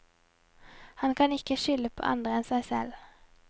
Han kan ikke skylde på andre enn seg selv.